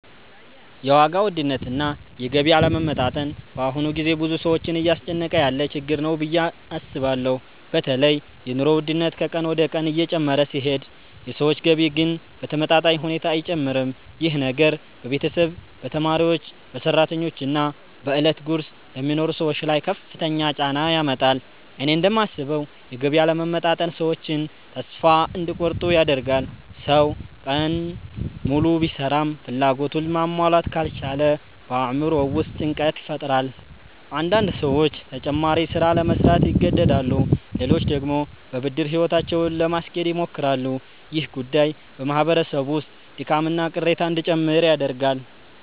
የዋጋ ውድነትና የገቢ አለመመጣጠን በአሁኑ ጊዜ ብዙ ሰዎችን እያስጨነቀ ያለ ችግር ነው ብዬ አስባለሁ። በተለይ የኑሮ ውድነት ከቀን ወደ ቀን እየጨመረ ሲሄድ የሰዎች ገቢ ግን በተመጣጣኝ ሁኔታ አይጨምርም። ይህ ነገር በቤተሰብ፣ በተማሪዎች፣ በሰራተኞች እና በዕለት ጉርስ ለሚኖሩ ሰዎች ላይ ከፍተኛ ጫና ያመጣል። እኔ እንደማስበው የገቢ አለመመጣጠን ሰዎችን ተስፋ እንዲቆርጡ ያደርጋል። ሰው ቀን ሙሉ ቢሰራም ፍላጎቱን ማሟላት ካልቻለ በአእምሮው ውስጥ ጭንቀት ይፈጠራል። አንዳንዴ ሰዎች ተጨማሪ ሥራ ለመሥራት ይገደዳሉ፣ ሌሎች ደግሞ በብድር ሕይወታቸውን ለማስኬድ ይሞክራሉ። ይህ ጉዳይ በማህበረሰብ ውስጥ ድካምና ቅሬታ እንዲጨምር ያደርጋል።